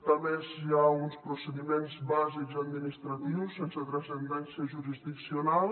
a més hi ha uns procediments bàsics administratius sense transcendència jurisdiccional